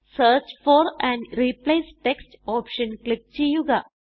search for and replace text option click ചെയ്യുക